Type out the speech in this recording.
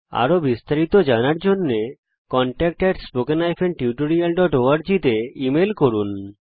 আরো বিস্তারিত জানার জন্য contactspoken tutorialorg তে লিখুন